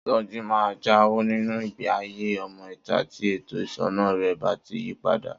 Soji máa jáwọ́ nínu ìgbéayé ọmọ ìta tí ètò ìṣúná rè bá ti yípadà